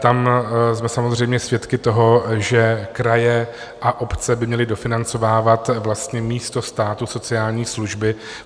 Tam jsme samozřejmě svědky toho, že kraje a obce by měly dofinancovávat vlastně místo státu sociální služby.